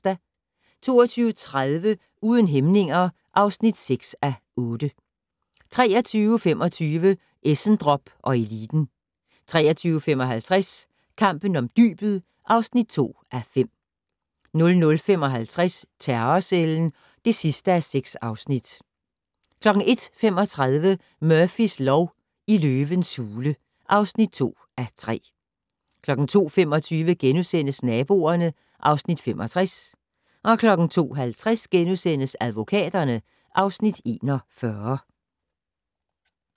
22:30: Uden hæmninger (6:8) 23:25: Essendrop & eliten 23:55: Kampen om dybet (2:5) 00:55: Terrorcellen (6:6) 01:35: Murphys lov: I løvens hule (2:3) 02:25: Naboerne (Afs. 65)* 02:50: Advokaterne (Afs. 41)*